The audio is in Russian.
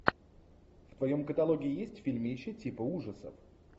в твоем каталоге есть фильмище типа ужасов